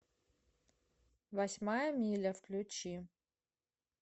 восьмая миля включи